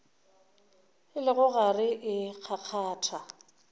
e le gare e kgakgatha